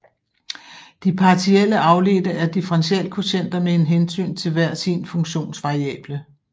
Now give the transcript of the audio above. De partielle afledte er differentialkvotienter med en hensyn til hver sin funktionsvariable